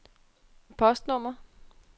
postnummer